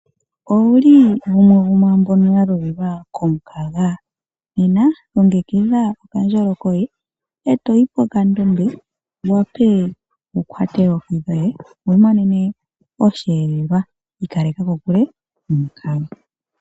Owuli gumwe gomwamboka ya lulilwa komukaga? nena longekidha okandjolo koye etoyi pokandombe wuwape wukwate oohi dhoye wimonene oshelelwa ikaleka kokule nomukaga.